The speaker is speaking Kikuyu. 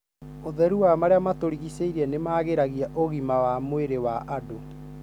ũtheru wa marĩa matũrigicĩirie nĩ magĩragia ũgima wa mwĩrĩ wa andũ